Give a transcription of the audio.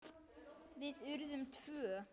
Við urðum tvö.